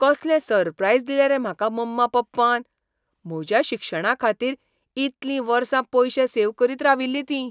कसलें सरप्रायज दिलें रे म्हाका मम्मा पप्पान. म्हज्या शिक्षणाखातीर इतलीं वर्सां पयशे सेव्ह करीत राविल्लीं तीं.